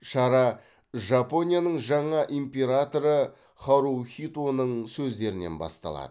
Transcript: шара жапонияның жаңа императоры харухитоның сөздерінен басталады